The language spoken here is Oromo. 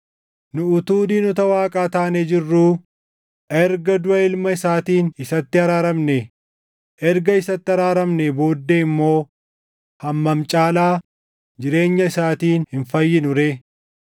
Nu utuu diinota Waaqaa taanee jirruu erga duʼa ilma isaatiin isatti araaramnee, erga isatti araaramnee booddee immoo hammam caalaa jireenya isaatiin hin fayyinu ree!